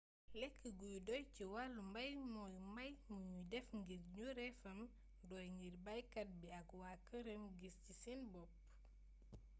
lekk gu doy ci wàllu mbay mooy mbay mi nu def ngir njureefam doy ngir baykat bi ak waa këram gis ci seen bopp